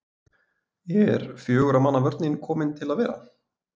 Er fjögurra manna vörnin komin til að vera?